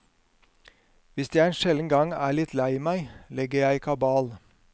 Hvis jeg en sjelden gang er litt lei meg, legger jeg kabal.